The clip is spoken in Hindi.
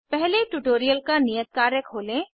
पहले ट्यूटोरियल का नियत कार्य खोलें